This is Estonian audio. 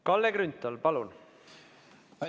Kalle Grünthal, palun!